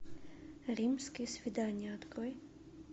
римские свидания открой